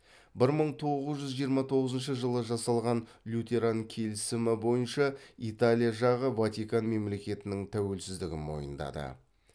бір мың тоғыз жүз жиырма тоғызыншы жылы жасалған лютеран келісімі бойынша италия жағы ватикан мемлекетінің тәуелсіздігін мойындады